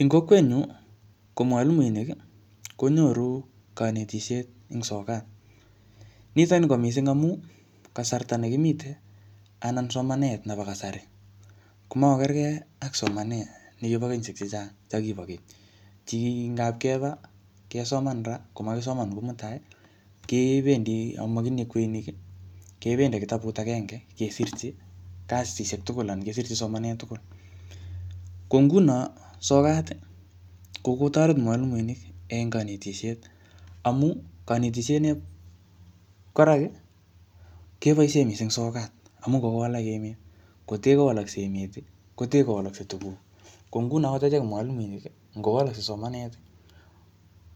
Eng kokwet nyu, ko mwalimuinik konyoru kanetisiet eng sokat. Nitoni ko missing amu, kasarta ne kimite, anan somanet nebo kasari, komakokergei ak somanet nekibo kenyisiek chechang chakibo keny, che kingapkeba, kesoman ra, koakisoman kou mutai, kebendi amakitinye kweinik, kebendi ak kitabut agenge kesirchi kasisiek tugul anan kesirchi somanet tugul. Ko nguno sokat, ko kokotoret mwalimuinik en kanetisiet amu kanetisiet nep koraki, keboisie missing sokat, amu kokowalak emet. Kotee kowalaksei emet, kotee kowalaksei tuguk. Ko nguno angot achek mwalimuinik, ngowalaksei somanet,